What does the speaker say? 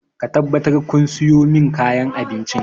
Ku tabbatar kun sayo min kayan abinci!